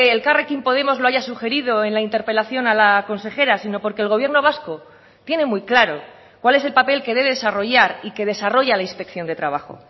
elkarrekin podemos lo haya sugerido en la interpelación a la consejera sino porque el gobierno vasco tiene muy claro cuál es el papel que debe desarrollar y que desarrolla la inspección de trabajo